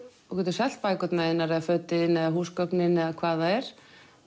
þú getur selt bækurnar þínar eða fötin þín eða húsgögnin eða hvað það er